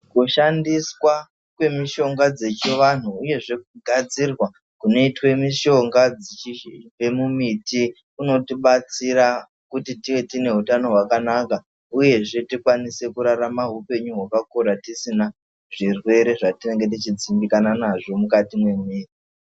Kushandiswa kwe mishonga dzechi vanhu uyezve kugadzirwa kunoitwe mishonga dzichibve mu miti kunoti batsira kuti tive tine utano hwakanaka uyezve tikwanise kurarama hupenyu hwakakura tisina zvirwere zvatinenge tichi dzimbikana nazvo mukati me mwiri.